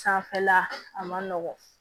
Sanfɛla a man nɔgɔn